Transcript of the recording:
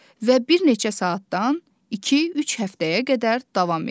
Və bir neçə saatdan iki-üç həftəyə qədər davam edir.